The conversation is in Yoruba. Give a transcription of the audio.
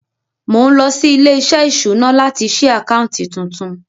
Mo ń lọ sí ilé-iṣẹ́ ìṣúná láti ṣí àkáǹtì tuntun.